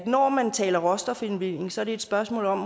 når man taler råstofindvinding måske så er et spørgsmål om